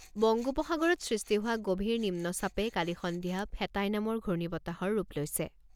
বংগোপসাগৰত সৃষ্টি হোৱা গভীৰ নিম্নচাপে কালি সন্ধিয়া ফেটাই নামৰ ঘূৰ্ণি বতাহৰ ৰূপ লৈছে।